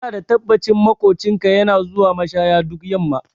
Ina da tabbacin maƙocinka yana zuwa mashaya duk yamma